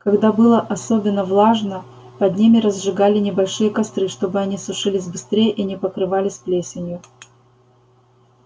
когда было особенно влажно под ними разжигали небольшие костры чтобы они сушились быстрее и не покрывались плесенью